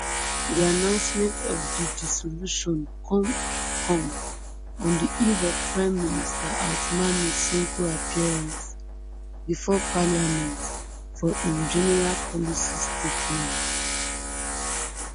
di announcement of di dissolution come come on di eve of prime minister ousmane sonko appearance bifor parliament for im general policy statement